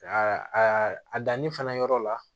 a danni fana yɔrɔ la